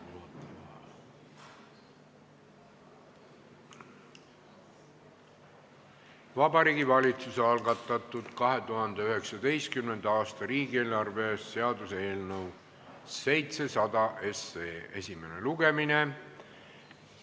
Alustame Vabariigi Valitsuse algatatud 2019. aasta riigieelarve seaduse eelnõu esimest lugemist.